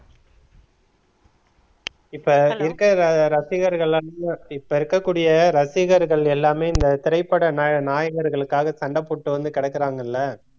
இப்ப இருக்கற ரசிகர்கள் எல்லாம் இப்ப இருக்கக்கூடிய ரசிகர்கள் எல்லாமே இந்த திரைப்பட நாயக~ நாயகர்களுக்காக சண்டை போட்டு வந்து கெடக்குறாங்கள்ல